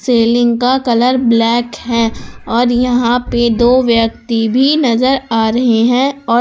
selling का colour black है और यहां पे दो व्यक्ति भी नजर आ रहे हैं और--